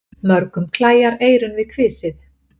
Mörgum klæjar eyrun við kvisið.